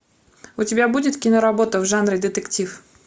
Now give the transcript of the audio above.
у тебя будет киноработа в жанре детектив